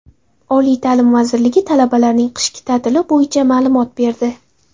Oliy ta’lim vazirligi talabalarning qishki ta’tili bo‘yicha ma’lumot berdi.